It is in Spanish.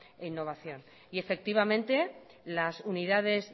e innovación y efectivamente las unidades